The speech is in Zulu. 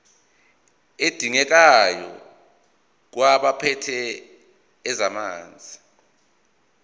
adingekayo kwabaphethe ezamanzi